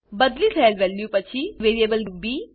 બદલી થયેલ વેલ્યુ પછી વેરીએબલ બી